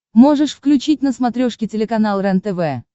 можешь включить на смотрешке телеканал рентв